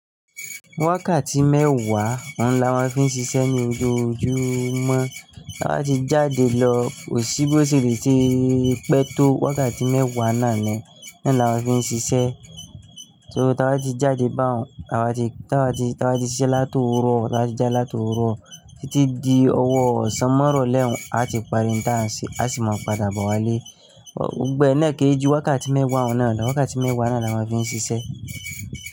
Wákàtí mẹ́wàá, òun ni a máa fi ń ṣiṣẹ́ ní ojúmọ́. Tá bá ti jáde lọ, kò sí bó ṣe lè ṣe pẹ́ tó wákàtí mẹ́wàá náà ni, náà ni a máa fi ń ṣiṣẹ́. So tá bá ti jáde bá òun, taa ti, taa ti, taa ti ṣiṣẹ́ láti òwúrọ̀, taa ti jáde láti òwúrọ̀ títí di ọwọ́ ọ̀sán mo ìrọ̀lẹ́ n, a ti parí n tán se, a sì máa padà bo wá lé. Gbogbo ẹ̀ náà kì í ju wákàtí mẹ́wàá un náà lọ. Wákàtí mẹ́wàá náà ni a máa fi ń ṣiṣẹ́.